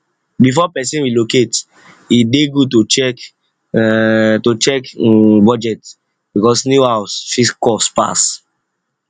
before person relocate e dey good to check um to check um budget because new house fit cost pass